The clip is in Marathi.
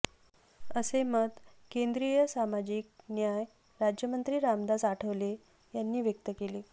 असे मत केंद्रीय सामाजिक न्याय राज्यमंत्री रामदास आठवले यांनी व्यक्त केले